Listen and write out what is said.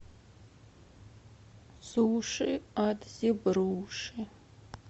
суши от зебруши